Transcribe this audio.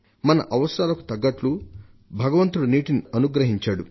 మన అవసరాలకు తగ్గట్లు భగవంతుడు నీటిని అనుగ్రహించాడు